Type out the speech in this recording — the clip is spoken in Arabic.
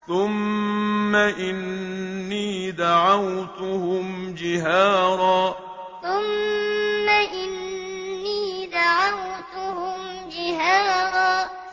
ثُمَّ إِنِّي دَعَوْتُهُمْ جِهَارًا ثُمَّ إِنِّي دَعَوْتُهُمْ جِهَارًا